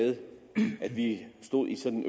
med at vi stod i sådan